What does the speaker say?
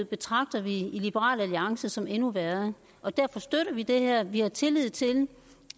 betragter vi i liberal alliance alternativet som endnu værre og derfor støtter vi det her vi har tillid til